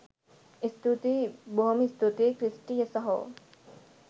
ස්තුතියි බොහොම ස්තූතියි ක්‍රිස්ටි සහෝ